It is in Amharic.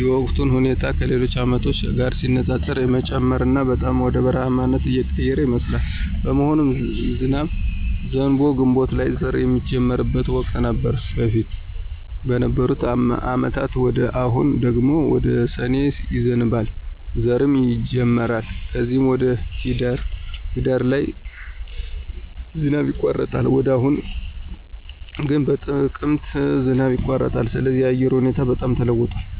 የሙቀቱም ሁኔታ ከሌሎች አመቶች ጋር ሲነፃፀር የመጨመርና በጣም ወደ በረሐማነት እየተቀየረ ይመስላል። በመሆኑም ዝናብ ዘንቦ ግንቦት ላይ ዘር ሚጀመርበት ወቅት ነበር በፊት በነበሩ አመታት ወደ አሁኑ ደግሞ ወደ ሰኔ ይዘንባል ዘርም ይጀመራል ከዚም ወደ ሂዳር ላይ ዝናብ ይቋረጣል ወደ አሁኑ ግን በጥቅምት ዝናብ ይቋረጣል ስለዚህ የአየሩ ሁኔታ በጣም ተለዋውጧል